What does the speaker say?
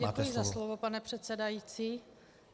Děkuji za slovo, pane předsedající.